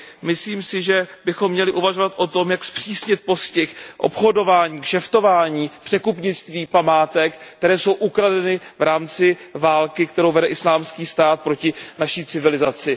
Myslím si, že bychom měli uvažovat o tom, jak zpřísnit postih obchodování, kšeftování, překupnictví památek, které jsou ukradeny v rámci války, kterou vede Islámský stát proti naší civilizaci.